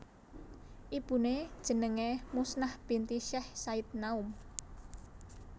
Ibuné jenengé Muznah binti Syech Said Naum